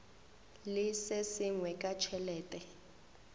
le se sengwe ka tšhelete